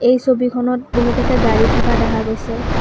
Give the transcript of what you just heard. এই ছবিখনত বহুকেইটা গাড়ী থকা দেখা গৈছে।